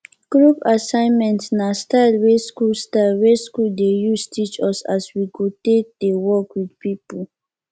group assignment na style wey school style wey school dey use teach us as we go take dey work with people